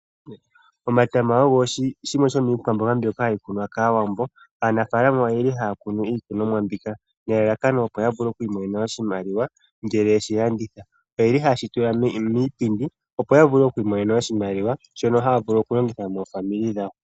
Omatama ogo shimwe shomiikwamboga mbyoka hayi kunwa kaawambo. Aanafaalama oyeli haya kunu iikunomwa mbika nelalakano opo yavule okwiimonena oshimaliwa ngele yeshilanditha. Oyeli hayeshitula miipindi, opo yavule okwimonena oshimaliwa shono haya vulu okulongitha moofamili dhawo.